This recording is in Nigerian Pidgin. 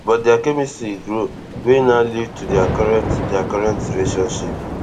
but dia chemistry grow wey now lead to dia current dia current relationship